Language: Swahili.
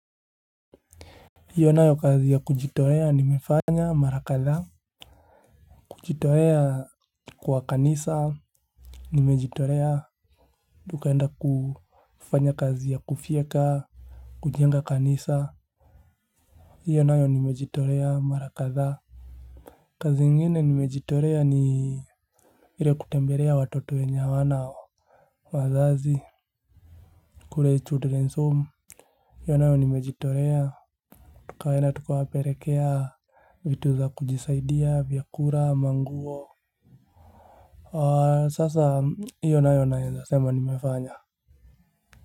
Hiyo nayo kazi ya kujitolea nimefanya mara kadhaa. Kujitolea kwa kanisa Nimejitolea. Tukaenda kufanya kazi ya kufyeka kujenga kanisa. Hiyo nayo nimejitolea mara kadhaa. Kazi ingine nimejitolea ni ile kutembelea watoto wenye hawana wazazi. Kule children's home hiyo nayo nimejitolea. Tukaenda tukawapelekea vitu za kujisaidia vyakula manguo sasa hiyo nayo naweza sema nimefanya.